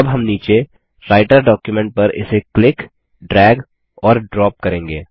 अब हम नीचे राइटर डॉक्युमेंट पर इसे क्लिक ड्रैग और ड्रॉप करेंगे